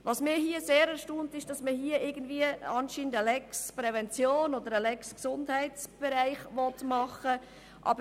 Was mich sehr erstaunt, ist, dass man hier anscheinend eine «Lex Prävention» beziehungsweise eine «Lex Gesundheitsprävention» schaffen will.